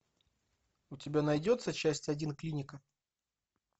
у тебя найдется часть один клиника